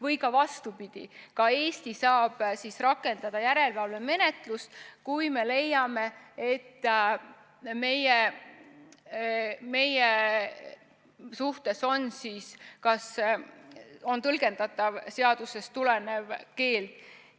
Või vastupidi, Eesti saab rakendada järelevalvemenetlust, kui me leiame, et meie suhtes on tõlgendatav seadusest tulenev keeld.